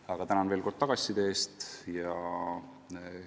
Aga tänan veel kord tagasiside eest!